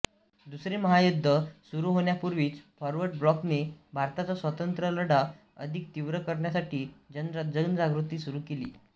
दुसरे महायुद्ध सुरू होण्यापूर्वीच फॉरवर्ड ब्लॉकने भारताचा स्वातंत्र्यलढा अधिक तीव्र करण्यासाठी जनजागृती सुरू केली